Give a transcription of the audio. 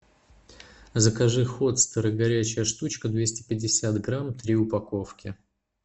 закажи хотстеры горячая штучка двести пятьдесят грамм три упаковки